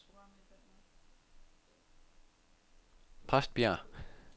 Præstbjerg